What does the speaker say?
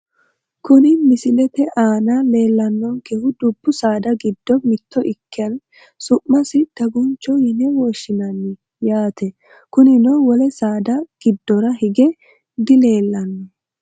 Kuni misilete aana leelanonkehu dubbu saada giddo mitto ikke su`masino dagunchoho yine woshinani yaate kunino wole saada gidora hige di leelano.